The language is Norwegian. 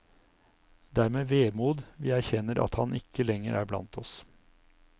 Det er med vemod vi erkjenner at han ikke lenger er blant oss.